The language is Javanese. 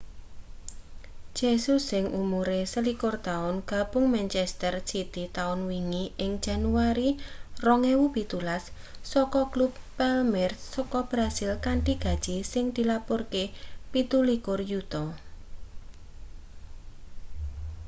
jesus sing umure 21 taun gabung manchester city taun wingi ing januari 2017 saka klub palmeiras saka brasil kanthi gaji sing dilapurake £27 yuta